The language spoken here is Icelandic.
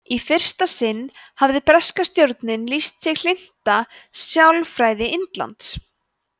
í fyrsta sinn hafði breska stjórnin lýst sig hlynnta sjálfstæði indlands